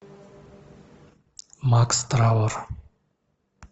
макс травор